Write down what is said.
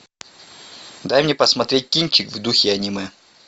дай мне посмотреть кинчик в духе аниме